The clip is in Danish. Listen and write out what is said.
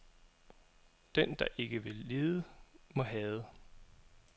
Den der ikke vil lide må hade.